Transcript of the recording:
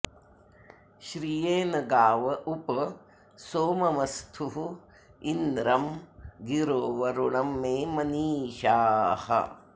श्रिये न गाव उप सोममस्थुरिन्द्रं गिरो वरुणं मे मनीषाः